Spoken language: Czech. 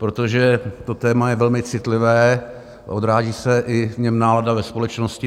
Protože to téma je velmi citlivé, odráží se i v něm nálada ve společnosti.